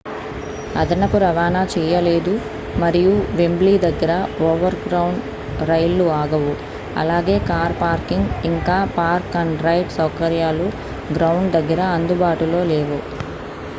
అదనపు రవాణా చేయలేదు మరియు వెంబ్లీ దగ్గర ఓవర్గ్రౌండ్ రైళ్లు ఆగవు అలాగే కార్ పార్కింగ్ ఇంకా పార్క్-అండ్-రైడ్ సౌకర్యాలు గ్రౌండ్ దగ్గర అందుబాటులో లేవు